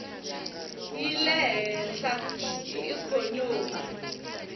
yi le hehla hi ikhonomi